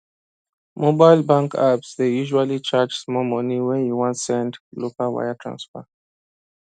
mobile bank apps dey usually charge small money when you wan send local wire transfer